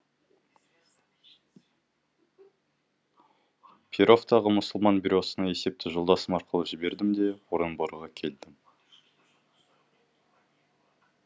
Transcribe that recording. перовтағы мұсылман бюросына есепті жолдасым арқылы жібердім де орынборға келдім